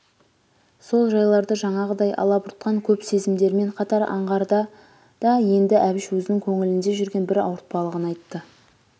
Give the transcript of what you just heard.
сол жайларды жаңағыдай алабұртқан көп сезімдермен қатар аңғарда да енді әбіш өзінің көңілінде жүрген бір ауыртпалығын айтты